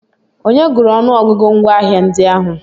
Onye gụrụ ọnụọgụgụ ngwaahịa ndị ahụ?